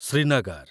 Srinagar